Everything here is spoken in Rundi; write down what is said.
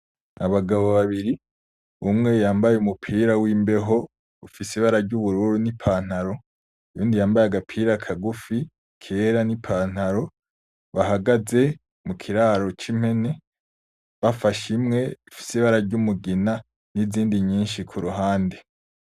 Abagabo babiri umwe yambaye umupira w'imbeho ufise ibara ry'ubururu n'ipantaro, uwundi yambaye agapira kagufi kera n'ipantaro ,bahagaze mukiraro c'impene bafashe imwe ifise ibara ry'umugina n'izindi nyinshi kuruhande.